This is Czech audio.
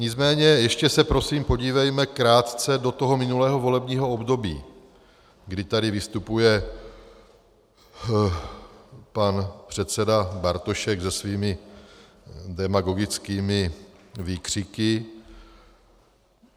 Nicméně ještě se prosím podívejme krátce do toho minulého volebního období, kdy tady vystupuje pan předseda Bartošek se svými demagogickými výkřiky.